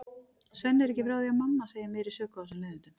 Svenni er ekki frá því að mamma hans eigi meiri sök á þessum leiðindum.